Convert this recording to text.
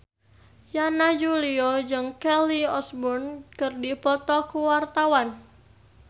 Yana Julio jeung Kelly Osbourne keur dipoto ku wartawan